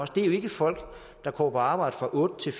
det er jo ikke folk der går på arbejde fra otte til